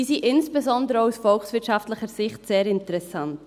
Diese sind insbesondere auch aus volkswirtschaftlicher Sicht sehr interessant.